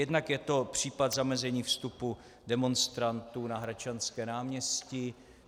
Jednak je to případ zamezení vstupu demonstrantů na Hradčanské náměstí.